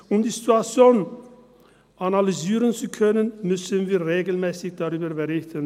Um die Situation analysieren zu können, müssen wir regelmässig darüber berichten.